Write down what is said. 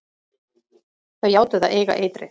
Þau játuðu að eiga eitrið.